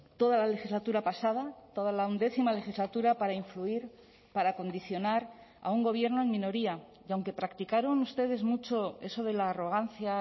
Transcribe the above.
toda la legislatura pasada toda la undécima legislatura para influir para condicionar a un gobierno en minoría y aunque practicaron ustedes mucho eso de la arrogancia